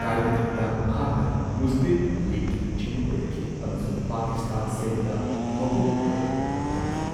ꯀꯥꯏꯅꯊꯪꯗ ꯃꯍꯥꯛꯅ ꯃꯨꯁꯂꯤꯝ ꯂꯤꯒꯀꯤ ꯂꯨꯆꯤꯡꯕ ꯑꯣꯏꯔꯛꯈꯤ ꯑꯃꯁꯨꯡ ꯄꯀꯤꯁꯇꯥꯟ ꯁꯦꯝꯕꯗ ꯃꯄꯨꯡ ꯑꯣꯏꯕ ꯊꯧꯗꯥꯡ ꯌꯥꯈꯤ꯫